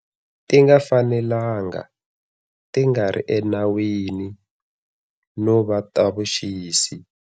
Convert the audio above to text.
Ti nga fanelanga, ti nga ri enawini no va ta vuxisi.